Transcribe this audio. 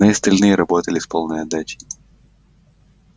но и остальные работали с полной отдачей